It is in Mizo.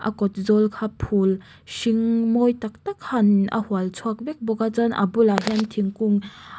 a kawt zawl kha phûl hring mawi tak tak khanin a hual chhuak vek bawk a chuan a bulah hian thingkung--